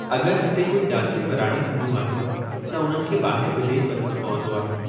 अगरि हिते कोई जाचूं कराइणियूं हूंदियूं आहिनि त उननि खे ॿाहिरि विदेश वञणो पवंदो आहे।